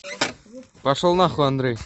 пошел на хуй андрей